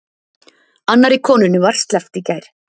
Annarri konunni var sleppt í gær